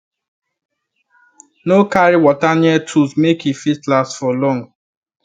no carry water near tools make e fit last for long